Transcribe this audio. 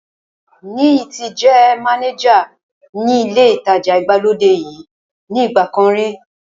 Níyì ti jẹ́ mánéjà ní ilé ìtajà ìgbàlódé yìí ní ìgbà kan rí